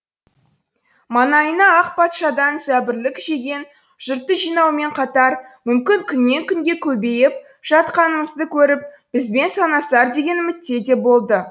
маңайына ақ патшадан зәбірлік жеген жұртты жинаумен қатар мүмкін күннен күнге көбейіп жатқанымызды көріп бізбен санасар деген үмітте де болды